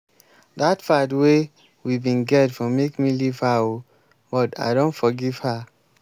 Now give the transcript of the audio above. dat fight wey we bin get for make me leave her o but i don forgive her.